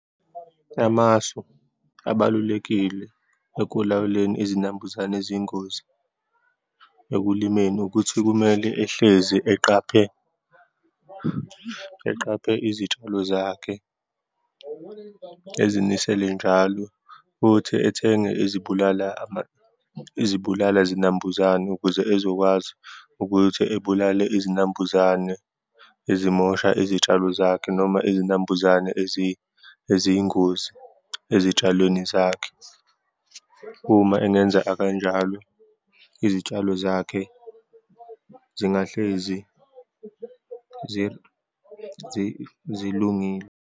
Amasu abalulekile ekulawuleni izinambuzane eziyingozi ekulimeni, ukuthi kumele ehlezi eqaphe, eqaphe izitshalo zakhe, ezinisele njalo futhi ethenge ezibulala izibulala zinambuzane ukuze ezokwazi ukuthi ebulale izinambuzane ezimosha izitshalo zakhe, noma izinambuzane eziyingozi ezitshalweni zakhe. Uma engenzeka kanjalo, izitshalo zakhe singahlezi zilungile.